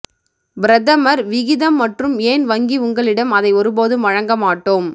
பிரதமர் விகிதம் மற்றும் ஏன் வங்கி உங்களிடம் அதை ஒருபோதும் வழங்க மாட்டோம்